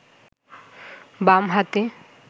বাম হাতে